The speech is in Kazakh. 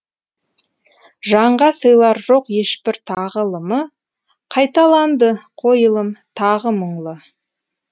жанға сыйлар жоқ ешбір тағылымы қайталанды қойылым тағы мұңлы